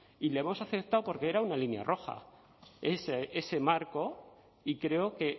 y lo hemos aceptado porque era una línea roja ese marco y creo que